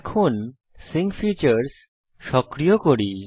এখন sync features বৈশিষ্ট্য সক্রিয় করি